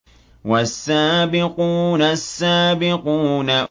وَالسَّابِقُونَ السَّابِقُونَ